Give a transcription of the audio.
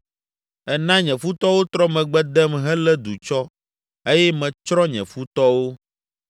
Èna nye futɔwo trɔ megbe dem helé du tsɔ eye metsrɔ̃ nye futɔwo.